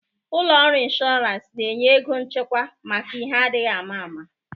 Ụlọ ọrụ inshọrans na-enye ego nchekwa maka ihe adịghị ama ama.